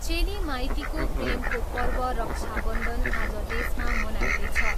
चेली माइतीको प्रेमको पर्व रक्षाबन्धन आज देशमा मनाइँदैछ।